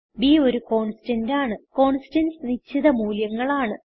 ബ് ഒരു കോൺസ്റ്റന്റ് ആണ് കോൺസ്റ്റന്റ്സ് നിശ്ചിത മൂല്യങ്ങളാണ്